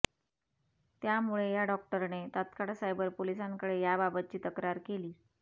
त्यामुळे या डॉक्टरने तात्काळ सायबर पोलिसांकडे याबाबतची तक्रार केली